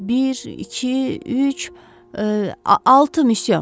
Bir, iki, üç, altı müsyö.